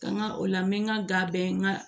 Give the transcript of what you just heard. Ka n ka o la n bɛ n ka da bɛɛ n ka